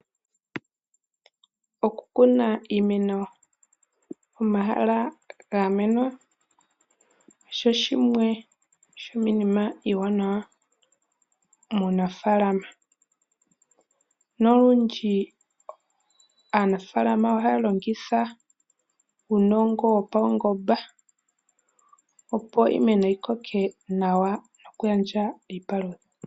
Oku kuna iimeno pomahala ga gamwenwa osho shimwe shomiinima iiwanawa muunafaalama, nolundji aanafalama ohaya longitha uunongo wopaungomba opo iimeno yi koke nawa noku gandja iipalutha.